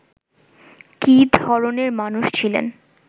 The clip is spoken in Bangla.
কী ধরণের মানুষ ছিলেন